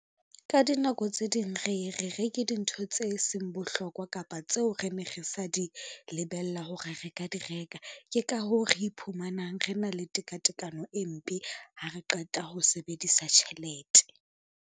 Ka dinako tse ding re e re reke dintho tse seng bohlokwa kapa tseo re ne re sa di lebella hore re ka di reka. Ke ka hoo re iphumanang re na le tekatekano e mpe ha re qeta ho sebedisa tjhelete.